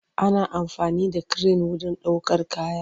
Ana amfani da kiren wurin ɗaukar kaya.